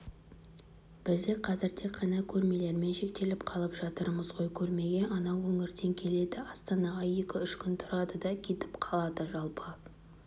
бізде қазір тек қана көрмелермен шектеліп қалып жатырмыз ғой көрмеге анау өңірден келеді астанаға екі-үш күн тұрады да кетіп қалады жалпы